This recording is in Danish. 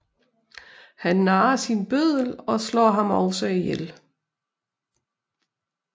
Han narrer sin bøddel og slår ham også ihjel